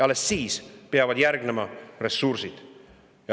Alles siis peavad järgnema ressursid.